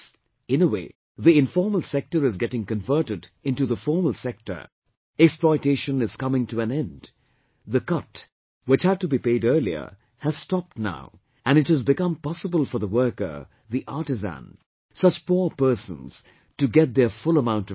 In a way, the informal sector is getting converted into the formal sector, exploitation is coming to an end, the cut, which had to be paid earlier, has stopped now and it has become possible for the worker, the artisan, such poor persons to get their full amount of money